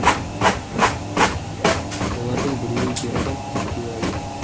олардың біреуі ер адам екеуі әйел